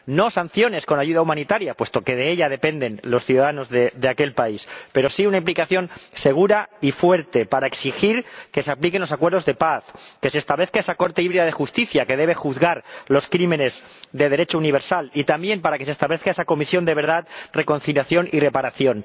No sanciones con la ayuda humanitaria, puesto que de ella dependen los ciudadanos de aquel país, pero sí una implicación segura y fuerte, para exigir que se apliquen los acuerdos de paz, que se establezca esa Corte híbrida de Justicia que debe juzgar los crímenes de Derecho universal, y también para que se establezca esa Comisión de Verdad, Reconciliación y Reparación.